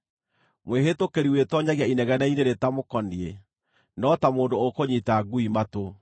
Mwĩhĩtũkĩri wĩtoonyagia inegene-inĩ rĩtamũkoniĩ no ta mũndũ ũkũnyiita ngui matũ.